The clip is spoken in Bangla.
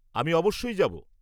আমি অবশ্যই যাব।